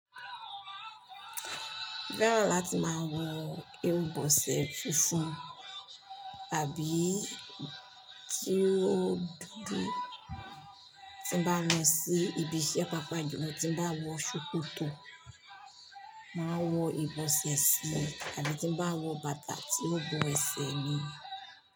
Fẹ́ràn láti máa wọ irúbọsẹ̀ funfun àbí tí ó dudu tí bá lọ sí ibi iṣẹ́ pàápàá jùlo, tí bá wọ ṣòkòtò, màá wọ ìbọsẹ̀ sí i àbí tí bá wọ bàtà tí ó bo ẹsẹ̀ mi.